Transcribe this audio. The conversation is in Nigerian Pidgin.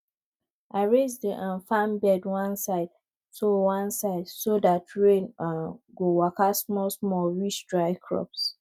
i raise the um farm bed one side so one side so dat rain um go waka smallsmall reach dry crops